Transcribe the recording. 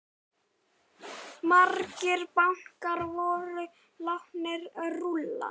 Margir bankar voru látnir rúlla.